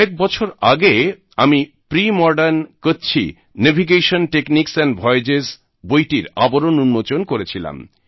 কয়েক বছর আগে আমি pre modern Kutchi Kutchi navigation techniques and voyages বইটির আবরণ উন্মোচন করেছিলাম